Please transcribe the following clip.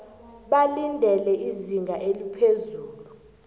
balindele izinga eliphezulu